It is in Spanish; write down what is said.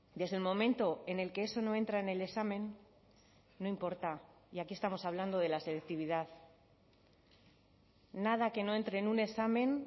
desde el momento en el que eso no entra en el examen no importa y aquí estamos hablando de la selectividad nada que no entre en un examen